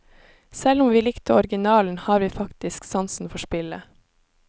Selv om vi likte originalen, har vi faktisk sansen for spillet.